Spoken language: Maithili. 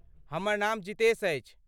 हमर नाम जितेश अछि।